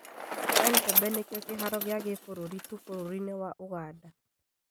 Entebbe nĩkĩo kĩharo gĩa kibũrũri tu bũrũri-inĩ wa ũganda